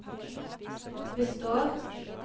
består